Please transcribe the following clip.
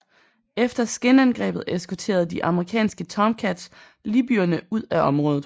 Efter skinangrebet eskorterede de amerikanske Tomcats libyerne ud af området